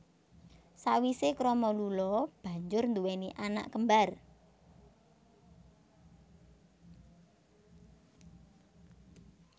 Sawise krama Lula banjur nduwéni anak kembar